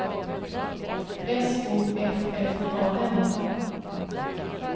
S O F F A N